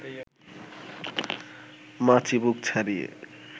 মা চিবুক ছাড়িয়ে